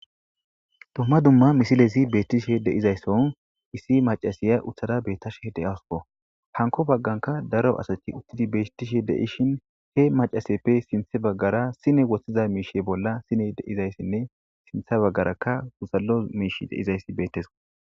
Domma dumma misilesi beettishe deizaysson issi macasiya uthada bettashe deasuo hanko bagganka daro asati uttidi beettishe deishin he macaseppe sinthe baggara sine woththiza miishe bolla sine deizayssinne sinthe baggarakka gusallo miish deizayssi beettes.